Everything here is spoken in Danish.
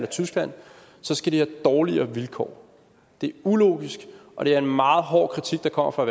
tyskland skal de have dårligere vilkår det er ulogisk og det er en meget hård kritik der kommer fra